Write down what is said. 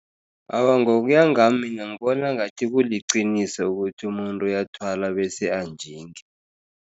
Awa, ngokuyangami mina ngibona ngathi kuliqiniso ukuthi umuntu uyathwala bese anjinge.